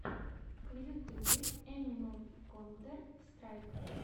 в ютубе энимал контэр страйк